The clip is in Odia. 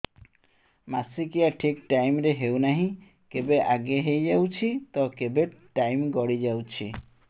ମାସିକିଆ ଠିକ ଟାଇମ ରେ ହେଉନାହଁ କେବେ ଆଗେ ହେଇଯାଉଛି ତ କେବେ ଟାଇମ ଗଡି ଯାଉଛି